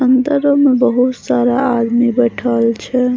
अंदर रूम में बहुत सारा आदमी बैठल छे।